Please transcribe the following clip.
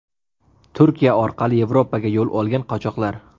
Turkiya orqali Yevropaga yo‘l olgan qochoqlar.